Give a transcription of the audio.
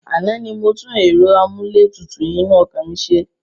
Àná ni mo tún ẹ̀rọ amúlétutù inú ọkọ̀ mi ṣe.